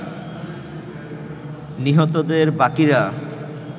নিহতদের বাকিরা